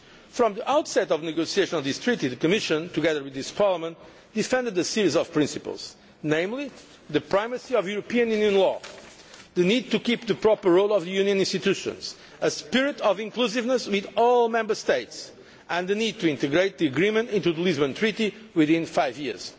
From the outset of the negotiations on this Treaty, the Commission, together with this Parliament, defended a series of principles namely the primacy of European Union law, the need to keep the proper role of the Union institutions, a spirit of inclusiveness with all Member States, and the need to integrate the agreement into the Lisbon Treaty within five years.